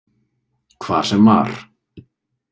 Hvar sem var.